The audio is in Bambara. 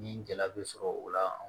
Ni gɛlɛya be sɔrɔ o la